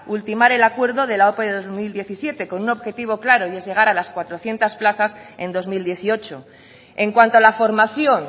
ultimar el acuerdo de la ope de dos mil diecisiete con un objetivo claro y es llegar a las cuatrocientos plazas en dos mil dieciocho en cuanto a la formación